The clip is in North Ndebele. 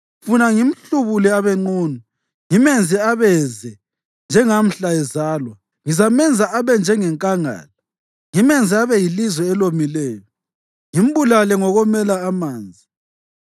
Funa ngimhlubule abe nqunu, ngimenze abeze njengamhla ezalwa; ngizamenza abe njengenkangala, ngimenze abe yilizwe elomileyo ngimbulale ngokomela amanzi.